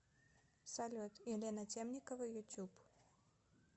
салют елена темникова ютуб